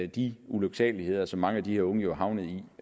de ulyksaligheder som mange af de her unge er havnet i